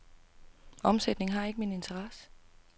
Omsætning har ikke min interesse.